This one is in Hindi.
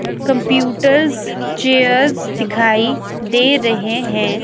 कंप्यूटर्स चेयर्स दिखाई दे रहे हैं।